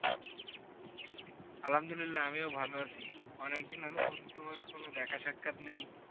আলহামদুলিল্লা, আমিও ভালো আছি। অনেকদিন দিন হল বন্ধু, তোমার কোন দেখা সাক্ষাত নেই!